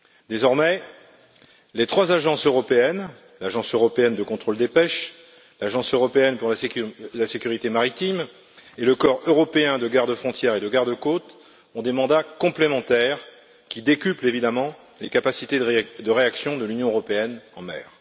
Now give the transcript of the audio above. Désormais, les trois agences européennes l'Agence européenne de contrôle des pêches, l'Agence européenne pour la sécurité maritime et le Corps européen de garde frontières et de garde côtes ont des mandats complémentaires qui décuplent évidemment les capacités de réaction de l'Union européenne en mer.